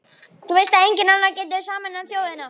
Þú veist að enginn annar getur sameinað þjóðina.